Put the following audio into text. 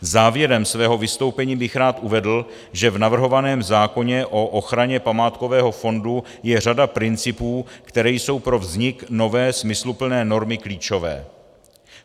Závěrem svého vystoupení bych rád uvedl, že v navrhovaném zákoně o ochraně památkového fondu je řada principů, které jsou pro vznik nové, smysluplné normy klíčové.